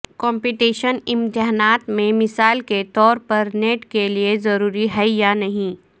competition امتحانات میں مثال کے طور پر نیٹ کے لئے ضروری ہے یا نہیں